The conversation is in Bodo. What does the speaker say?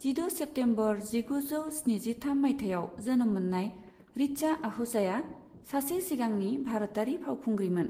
जिद' सेप्टेम्बर जिगुजौ स्निजिथाम मायथाइयाव जोनोम मोननाय ऋचा आहूजाया सासे सिगांनि भारतारि फावखुंग्रिमोन।